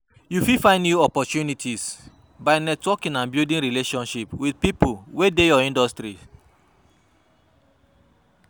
You fit find new opportunities by networking and building relationships with people wey dey your industry.